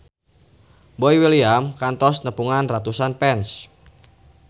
Boy William kantos nepungan ratusan fans